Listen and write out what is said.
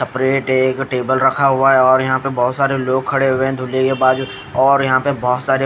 कपड़े टे-टेबल रखा हुआ है और यहाँ पर बहोत सारे लोग खड़े हुए दुल्हे के बाजू और यहाँ पर बहोत सारी--